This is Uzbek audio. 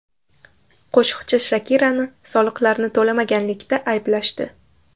Qo‘shiqchi Shakirani soliqlarni to‘lamaganlikda ayblashdi.